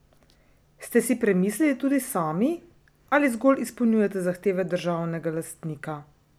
Ste si premislili tudi sami, ali zgolj izpolnjujete zahteve državnega lastnika?